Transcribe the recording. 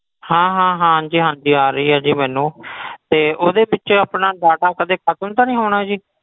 ਹਾਂ ਹਾਂ ਹਾਂ ਹਾਂਜੀ ਹਾਂਜੀ ਆ ਰਹੀ ਹੈ ਜੀ ਮੈਨੂੰ ਤੇ ਉਹਦੇ ਵਿੱਚ ਆਪਣਾ data ਕਦੇ ਖ਼ਤਮ ਤਾਂ ਨੀ ਹੋਣਾ ਜੀ?